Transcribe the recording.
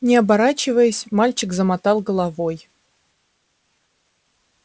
не оборачиваясь мальчик замотал головой